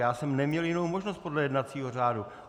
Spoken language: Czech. Já jsem neměl jinou možnost podle jednacího řádu.